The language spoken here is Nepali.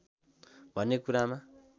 भन्ने कुरामा